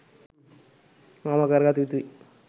අවම කරගත යුතුයි.